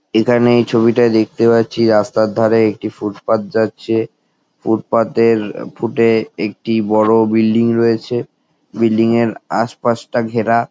এখানে এই ছবিটায় দেখতে পাচ্ছি রাস্তার ধারে একটি ফুটপাথ যাচ্ছে | ফুটপাথ -এর ফুটে একটি বড়ো বিল্ডিং রয়েছে | বিল্ডিং এর আশপাশটা ঘেরা।